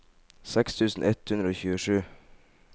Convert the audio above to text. seks tusen ett hundre og tjuesju